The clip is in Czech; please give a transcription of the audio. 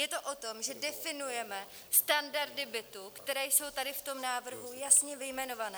Je to o tom, že definujeme standardy bytů, které jsou tady v tom návrhu jasně vyjmenované.